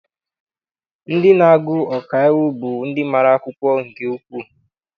Ndị na-agụ ọkaiwu bụ ndị mara akwụkwọ nke ukwuu.